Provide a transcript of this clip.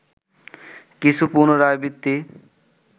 কিছু পুনরাবৃত্তি